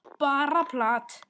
Bara plat.